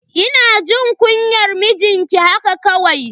Ina jin kunyan mijinki haka kawai.